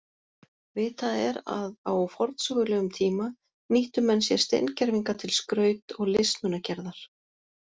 Vitað er að á forsögulegum tíma nýttu menn sér steingervinga til skraut- og listmunagerðar.